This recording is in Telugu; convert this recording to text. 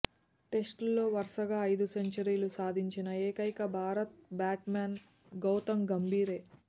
టెస్టుల్లో వరుసగా ఐదు సెంచరీలు సాధించిన ఏకైక భారత బ్యాట్స్ మెన్ గౌతమ్ గంభీరే